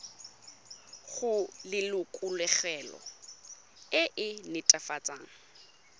go lelokolegolo e e netefatsang